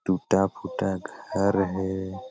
टूटा-फुटा घर है।